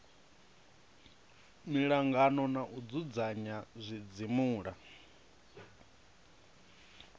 miangano na u dzudzanya zwidzimula